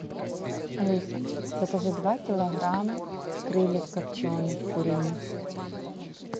алиса закажи два килограмма крыльев копченых куриных